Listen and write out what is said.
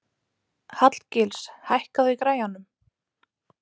Hallgils, hækkaðu í græjunum.